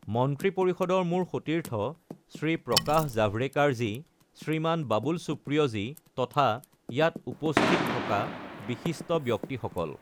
মন্ত্ৰী পৰিষদৰ মোৰ সতীৰ্থ শ্ৰী প্ৰকাশ জাভড়েকাৰ জী শ্ৰীমান বাবুল সুপ্ৰিঅ জী তথা ইয়াত উপস্থিত থকা বিশিষ্ট ব্যক্তিসকল।